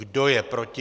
Kdo je proti?